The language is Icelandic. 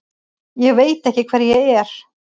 Ég veit ekki hver ég er.